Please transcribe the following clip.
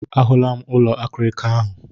A hụla m ụlọ akịrịka ahụ.